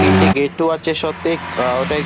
তিনটে গেটও আছে শতেক আ ওটায় --